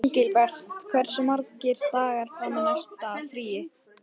Engilbert, hversu margir dagar fram að næsta fríi?